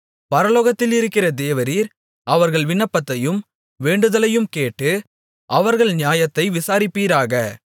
பரலோகத்தில் இருக்கிற தேவரீர் அவர்கள் விண்ணப்பத்தையும் வேண்டுதலையும் கேட்டு அவர்கள் நியாயத்தை விசாரிப்பீராக